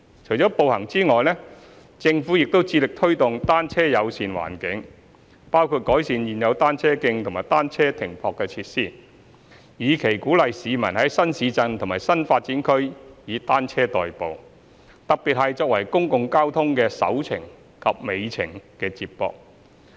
除了步行外，政府亦致力推動"單車友善"環境，包括改善現有單車徑和單車停泊設施，以期鼓勵市民在新市鎮及新發展區以單車代步，特別是作為公共交通的"首程"及"尾程"接駁。